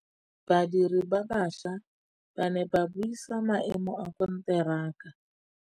Badiri ba baša ba ne ba buisa maêmô a konteraka.